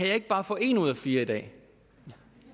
jeg ikke bare få et ud af fire i dag